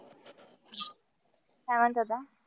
काय म्हणत होता?